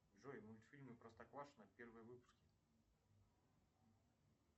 джой мультфильмы простоквашино первые выпуски